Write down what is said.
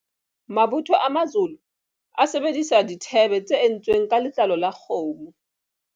Mabotho a Mazolo a sebedisa dithebe tse entsweng ka letlalo la kgomo.